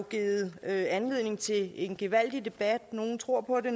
givet anledning til en gevaldig debat nogle tror på det